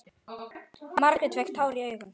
Margrét fékk tár í augun.